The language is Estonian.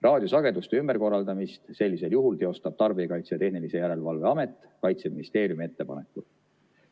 Raadiosageduste ümberkorraldamist sellisel juhul teostab Tarbijakaitse ja Tehnilise Järelevalve Amet Kaitseministeeriumi ettepanekul.